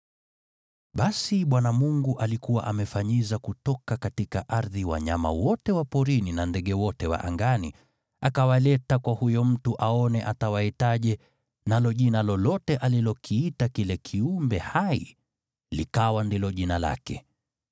Basi Bwana Mungu alikuwa amefanyiza kutoka ardhi wanyama wote wa porini na ndege wote wa angani. Akawaleta kwa huyu mtu aone atawaitaje, nalo jina lolote alilokiita kila kiumbe hai, likawa ndilo jina lake.